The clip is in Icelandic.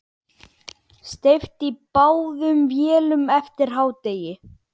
Steypt í báðum vélum eftir hádegi.